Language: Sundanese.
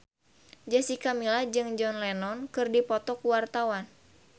Jessica Milla jeung John Lennon keur dipoto ku wartawan